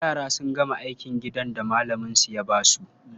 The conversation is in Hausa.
Yara sun gama aikin gidan da malaminsu ya ba su.